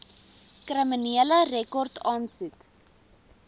kriminele rekord aansoek